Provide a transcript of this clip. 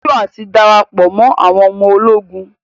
Joshua ti darapọ mọ àwọn ọmọ ológun